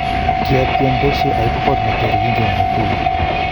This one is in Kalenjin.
Kiatiem pesyo oip kot neter kin ke mi hotelit,